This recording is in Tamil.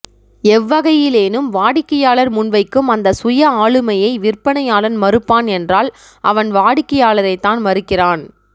எவ்வகையிலேனும் வாடிக்கையாளர் முன்வைக்கும் அந்த சுயஆளுமையை விற்பனையாளன் மறுப்பான் என்றால் அவன் வாடிக்கையாளரைத்தான் மறுக்கிறான்